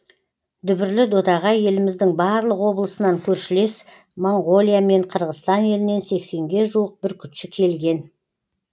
дүбірлі додаға еліміздің барлық облысынан көршілес моңғолия мен қырғызстан елінен сексенге жуық бүркітші келген